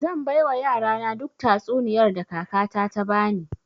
Zai baiwa yarana duk tatsuniyar da kakata ta bani